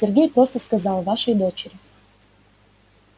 сергей просто сказал вашей дочери